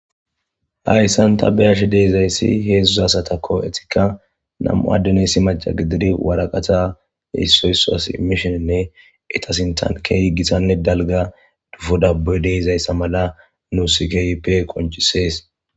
Hayssanta beyashe deezayssi heedzduzasata ko etikka nam'u addenesi maca gididi waraqata issoysso as imishoninne etasintan keeyi gisanne dalga dufo dabbuy deezayssa mala nussikeype qoncisees.